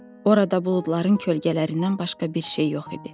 Orada buludların kölgələrindən başqa bir şey yox idi.